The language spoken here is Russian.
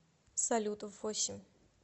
салют в восемь